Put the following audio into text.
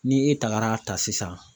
Ni e tagara a ta sisan